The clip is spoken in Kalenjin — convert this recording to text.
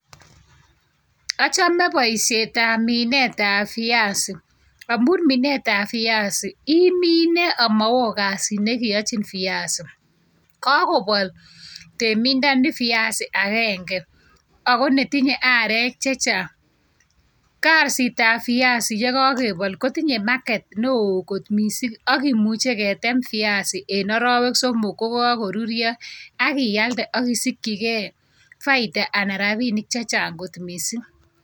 A home boishietab minetab viazi, amun minetab viazi, imine ak mowo kasit nekeyochi viazinik. Kokobol temindoni biasiat agenge, ako netindoi aarek chechang. Kasitab biasi chekokebol kotinye market newoo kot missing. Akimuche ketem biasi en arawek somok, kokoruryoo ak ialde ak isikyigei faida, anan rabinik chechang kot missing.